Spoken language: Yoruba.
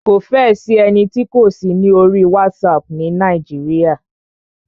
Kò fẹ́ ẹ sí ẹni tí kò sí ní orí WhatsApp ni Nàíjíríà.